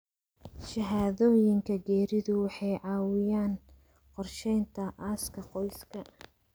Shahaadooyinka geeridu waxay caawiyaan qorsheynta aaska qoyska.